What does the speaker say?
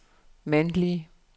mandlige